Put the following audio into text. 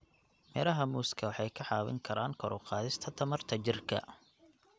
Midhaha muuska waxay ka caawin karaan kor u qaadista tamarta jidhka.